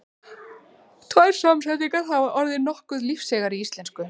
Tvær samsetningar hafa orðið nokkuð lífseigar í íslensku.